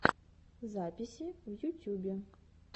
записи в ютюбе